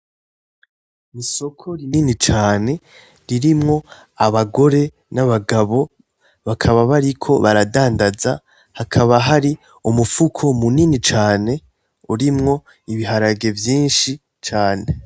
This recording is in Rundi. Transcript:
Isoko rinini cane ririmwo abagore n'abagabo, bakaba bariko baradandanza, hakaba hari umufuko munini cane urimwo ibiharage vyinshi cane.